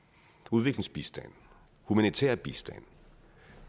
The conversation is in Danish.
udviklingsbistand humanitær bistand